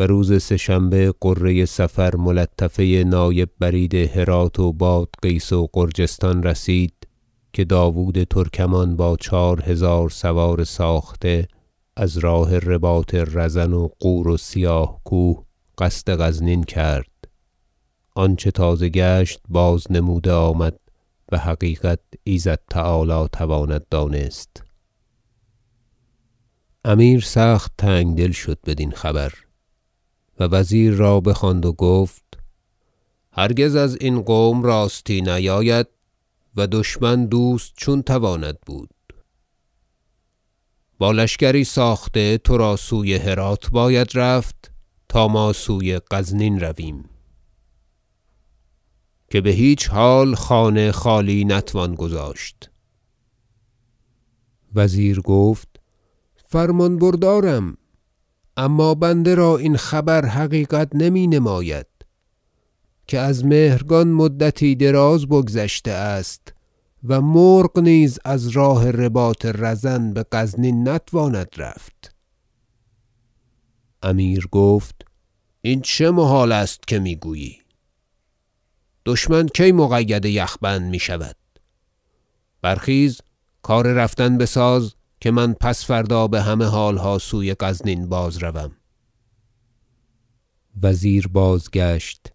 و روز سه شنبه غره صفر ملطفه نایب برید هرات و بادغیس و غرجستان رسید که داود ترکمان با چهار هزار سوار ساخته از راه رباط رزن و غور و سیاه کوه قصد غزنین کرد آنچه تازه گشت بازنموده آمد و حقیقت ایزد تعالی تواند دانست امیر سخت تنگ دل شد بدین خبر و وزیر را بخواند و گفت هرگز ازین قوم راستی نیاید و دشمن دوست چون تواند بود با لشکر ساخته ترا سوی هرات باید رفت تا ما سوی غزنین رویم که بهیچ حال خانه خالی نتوان گذاشت وزیر گفت فرمان بردارم اما بنده را این خبر حقیقت نمی نماید که از مهرگان مدتی دراز بگذشته است و مرغ نیز از راه رباط رزن بغزنین نتواند رفت امیر گفت این چه محال است که میگویی دشمن کی مقید یخ بند میشود برخیز کار رفتن بساز که من پس فردا بهمه حالها سوی غزنین بازروم وزیر بازگشت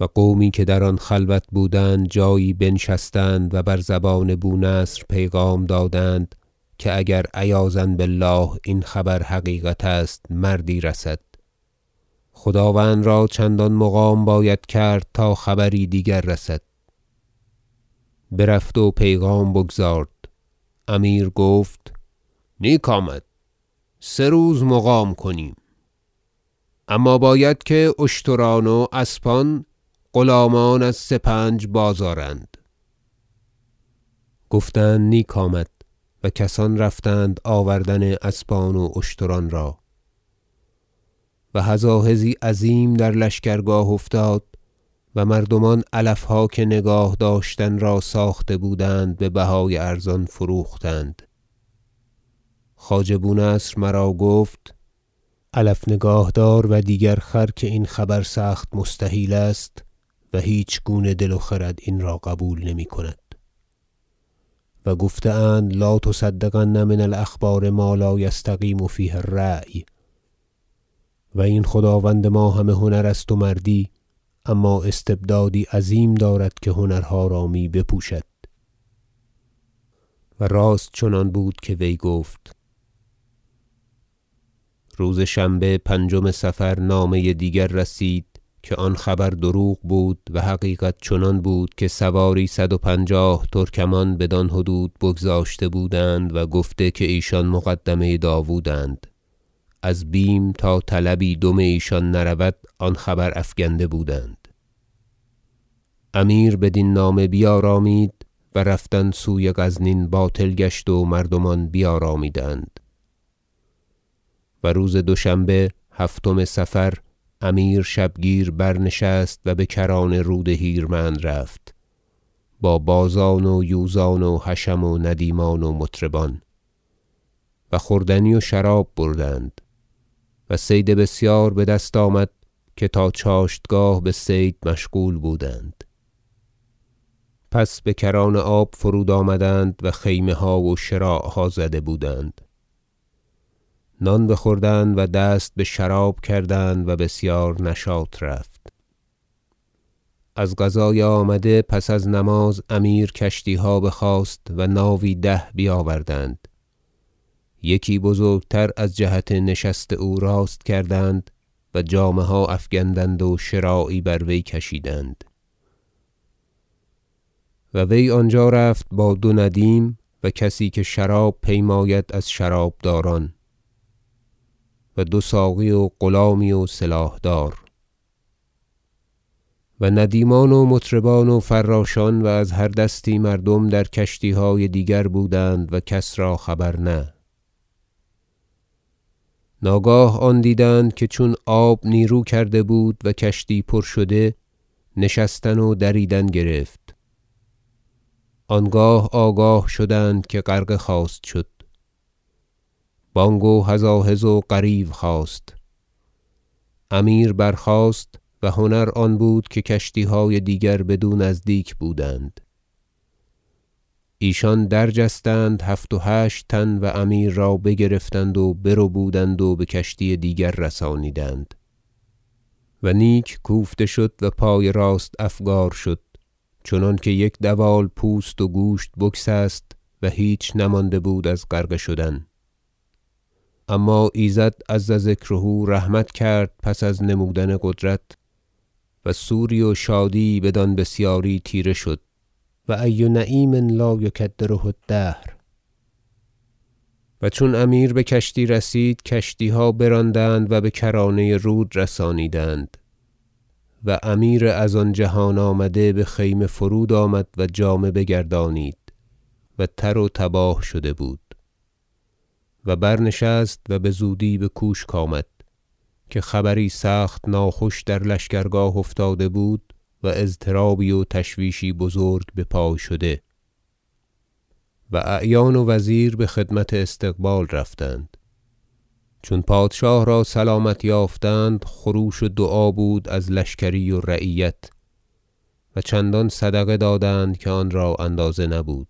و قومی که در آن خلوت بودند جایی بنشستند و بر زبان بونصر پیغام دادند که اگر عیاذا بالله این خبر حقیقت است مردی رسد خداوند را چندان مقام باید کرد تا خبری دیگر رسد برفت و پیغام بگزارد امیر گفت نیک آمد سه روز مقام کنیم اما باید که اشتران و اسبان غلامان از سپنج بازآرند گفتند نیک آمد و کسان رفتند آوردن اسبان و اشتران را و هزاهزی عظیم در لشکرگاه افتاد و مردمان علفها که نگاه داشتن را ساخته بودند ببهای ارزان فروختن گرفتند خواجه بونصر مرا گفت علف نگاه دار و دیگر خر که این خبر سخت مستحیل است و هیچگونه دل و خرد این را قبول نمیکند و گفته اند لا تصدقن من الاخبار ما لا یستقیم فیه الرأی و این خداوند ما همه هنر است و مردی اما استبدادی عظیم دارد که هنرها را می بپوشد و راست چنان آمد که وی گفت روز شنبه پنجم صفر نامه دیگر رسید که آن خبر دروغ بود و حقیقت چنان بود که سواری صد و پنجاه ترکمان بدان حدود بگذشته بودند و گفته که ایشان مقدمه داوداند از بیم آن تا طلبی دم ایشان نرود آن خبر افکنده بودند امیر بدین نامه بیارامید و رفتن سوی غزنین باطل گشت و مردمان بیارامیدند حادثه امیر در رود هیرمند و روز دوشنبه هفتم صفر امیر شبگیر برنشست و بکران رود هیرمند رفت با بازان و یوزان و حشم و ندیمان و مطربان و خوردنی و شراب بردند و صید بسیار بدست آمد که تا چاشتگاه بصید مشغول بودند پس بکران آب فرود آمدند و خیمه ها و شراعها زده بودند نان بخوردند و دست بشراب کردند و بسیار نشاط رفت از قضای آمده پس از نماز امیر کشتیها بخواست و ناوی ده بیاوردند یکی بزرگتر از جهت نشست او راست کردند و جامه ها افگندند و شراعی بر وی کشیدند و وی آنجا رفت با دو ندیم و کسی که شراب پیماید از شرابداران و دو ساقی و غلامی و سلاحدار و ندیمان و مطربان و فراشان و از هر دستی مردم در کشتیهای دیگر بودند و کس را خبر نه ناگاه آن دیدند که چون آب نیرو کرده بود و کشتی پر شده نشستن و دریدن گرفت آنگاه آگاه شدند که غرقه خواست شد بانگ و هزاهز و غریو خاست امیر برخاست و هنر آن بود که کشتیهای دیگر بدو نزدیک بودند ایشان درجستند هفت و هشت تن و امیر را بگرفتند و بربودند و بکشتی دیگر رسانیدند و نیک کوفته شد و پای راست افگار شد چنانکه یک دوال پوست و گوشت بگسست و هیچ نمانده بود از غرقه شدن اما ایزد عز ذکره رحمت کرد پس از نمودن قدرت و سوری و شادی یی بدان بسیاری تیره شد و ای نعیم لا یکدره الدهر و چون امیر بکشتی رسید کشتیها براندند و بکرانه رود رسانیدند و امیر از آن جهان آمده بخیمه فرود آمد و جامه بگردانید و تر و تباه شده بود و برنشست و بزودی بکوشک آمد که خبری سخت ناخوش در لشکرگاه افتاده بود و اضطرابی و تشویشی بزرگ بپای شده و اعیان و وزیر بخدمت استقبال رفتند چون پادشاه را بسلامت یافتند خروش و دعا بود از لشکری و رعیت و چندان صدقه دادند که آن را اندازه نبود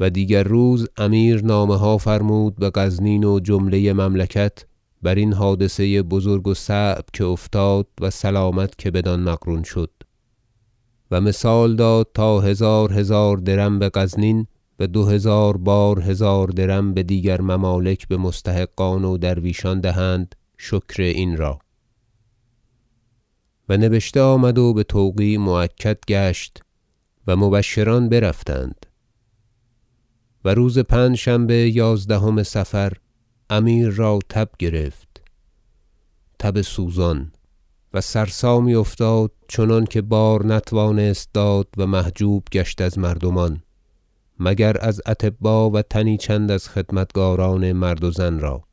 و دیگر روز امیر نامه ها فرمود بغزنین و جمله مملکت برین حادثه بزرگ و صعب که افتاد و سلامت که بدان مقرون شد و مثال داد تا هزار هزار درم بغزنین و دو هزار بار هزار درم بدیگر ممالک بمستحقان و درویشان دهند شکر این را و نبشته آمد و بتوقیع مؤکد گشت و مبشران برفتند و روز پنجشنبه یازدهم صفر امیر را تب گرفت تب سوزان و سرسامی افتاد چنان که بار نتوانست داد و محجوب گشت از مردمان مگر از اطبا و تنی چند از خدمتکاران مرد و زن را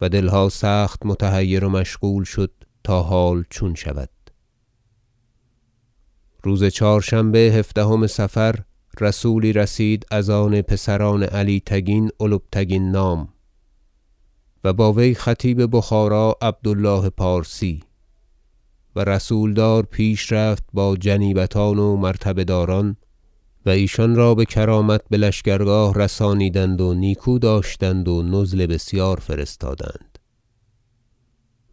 و دلها سخت متحیر و مشغول شد تا حال چون شود روز چهارشنبه هفدهم صفر رسولی رسید از آن پسران علی تگین البتگین نام و با وی خطیب بخارا عبد الله پارسی و رسولدار پیش رفت با جنیبتان و مرتبه داران و ایشان را بکرامت بلشکرگاه رسانیدند و نیکو داشتند و نزل بسیار فرستادند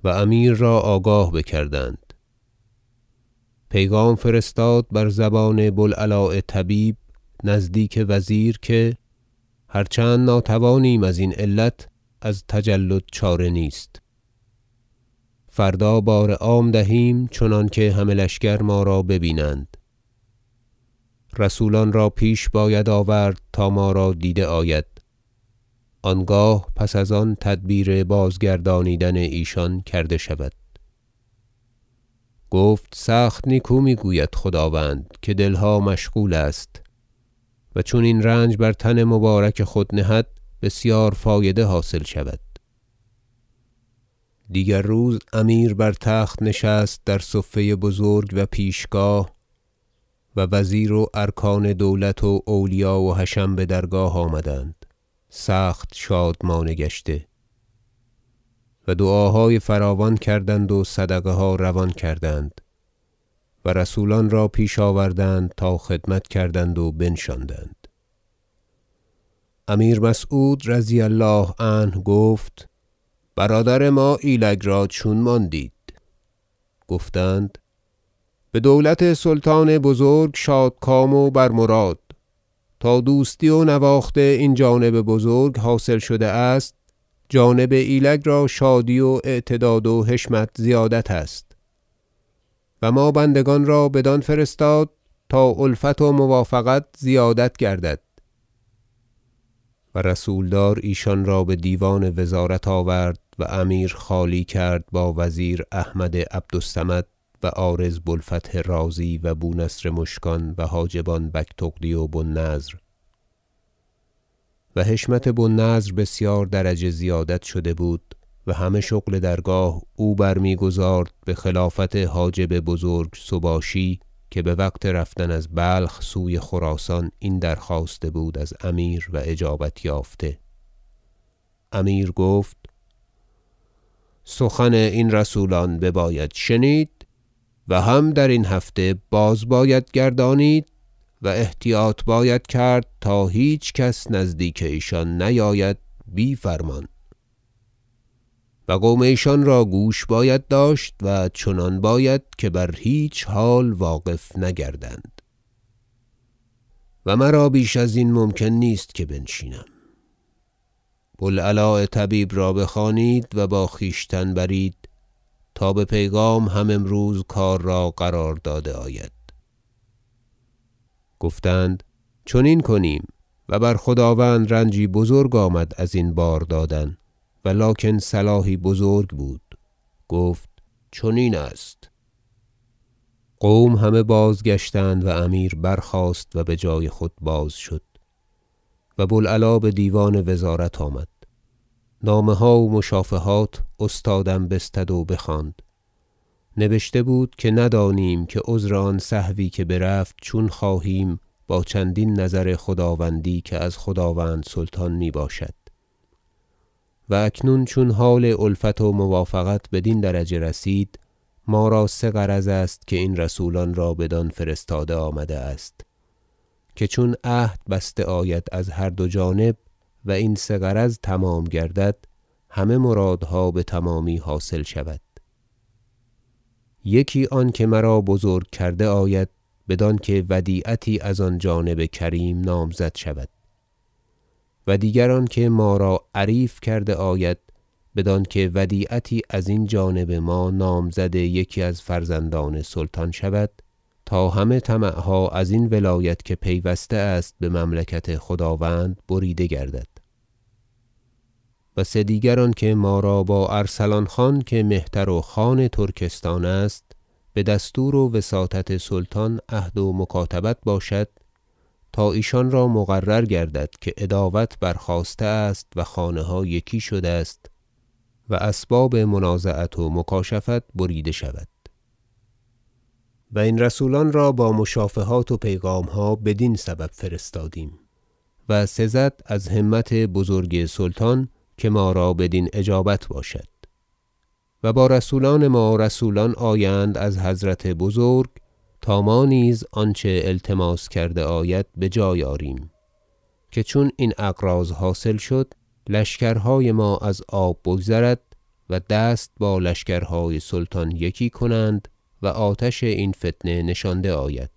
و امیر را آگاه بکردند پیغام فرستاد بر زبان بوالعلاء طبیب نزدیک وزیر که هر چند ناتوانیم ازین علت از تجلد چاره نیست فردا بار عام دهیم چنانکه همه لشکر ما را به بیند رسولان را پیش باید آورد تا ما را دیده آید آنگاه پس از آن تدبیر بازگردانیدن ایشان کرده شود گفت سخت نیکو میگوید خداوند که دلها مشغول است و چون این رنج بر تن مبارک خود نهد بسیار فایده حاصل شود دیگر روز امیر بر تخت نشست رضی الله عنه در صفه بزرگ و پیشگاه و وزیر و ارکان دولت و اولیا و حشم بدرگاه آمدند سخت شادمانه گشته و دعاهای فراوان کردند و صدقه ها روان کردند و رسولان را پیش آوردند تا خدمت کردند و بنشاندند امیر مسعود رضی الله عنه گفت برادر ما ایلگ را چون ماندید گفتند بدولت سلطان بزرگ شادکام و بر مراد تا دوستی و نواخت این جانب بزرگ حاصل شده است جانب ایلگ را شادی و اعتداد و حشمت زیادت است و ما بندگان را بدان فرستاد تا الفت و موافقت زیادت گردد و رسولدار ایشان را بدیوان وزارت آورد و امیر خالی کرد با وزیر احمد عبد الصمد و عارض بوالفتح رازی و بونصر مشکان و حاجبان بگتغدی و بوالنضر و حشمت بو النضر بسیار درجه زیادت شده بود و همه شغل درگاه او برمیگزارد بخلافت حاجب بزرگ سباشی که بوقت رفتن از بلخ سوی خراسان این درخواسته بود از امیر و اجابت یافته- امیر گفت سخن این رسولان بباید شنید و هم درین هفته باز باید گردانید و احتیاط باید کرد تا هیچ کس نزدیک ایشان نیاید بی فرمان و قوم ایشان را گوش باید داشت و چنان باید که بر هیچ حال واقف نگردند و مرا بیش ازین ممکن نیست که بنشینم بوالعلاء طبیب را بخوانید و با خویشتن برید تا به پیغام هم امروز کار را قرار داده آید گفتند چنین کنیم و بر خداوند رنجی بزرگ آمد ازین باردادن ولکن صلاحی بزرگ بود گفت چنین است قوم همه بازگشتند و امیر برخاست و بجای خود باز شد و بوالعلاء بدیوان وزارت آمد نامه ها و مشافهات استادم بستد و بخواند نبشته بود که ندانیم که عذر آن سهوی که برفت چون خواهیم با چندین نظر خداوندی که از خداوند سلطان میباشد و اکنون چون حال الفت و موافقت بدین درجه رسید ما را سه غرض است که این رسولان را بدان فرستاده آمده است که چون عهد بسته آید از هر دو جانب و این سه غرض تمام گردد همه مرادها بتمامی حاصل شود یکی آنکه مرا بزرگ کرده آید بدانکه ودیعتی از آن جانب کریم نامزد شود و دیگر آنکه ما را عریف کرده آید بدانکه ودیعتی از این جانب ما نامزد یکی از فرزندان سلطان شود تا همه طمعها ازین ولایت که پیوسته است بمملکت خداوند بریده گردد و سدیگر آنکه ما را با ارسلان خان که مهتر و خان ترکستان است بدستور و وساطت سلطان عهد و مکاتبت باشد تا ایشان را مقرر گردد که عداوت برخاسته است و خانه ها یکی شده است و اسباب منازعت و مکاشفت بریده شود و این رسولان را با مشافهات و پیغامها بدین سبب فرستادیم و سزد از همت بزرگ سلطان که ما را بدین اجابت باشد و با رسولان ما رسولان آیند از حضرت بزرگ تا ما نیز آنچه التماس کرده آید بجای آریم که چون این اغراض حاصل شد لشکرهای ما از آب بگذرد و دست با لشکرهای سلطان یکی کنند و آتش این فتنه نشانده آید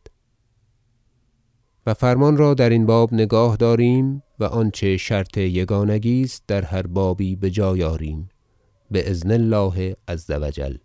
و فرمان را درین باب نگاه داریم و آنچه شرط یگانگی است در هر بابی بجای آریم باذن الله عز و جل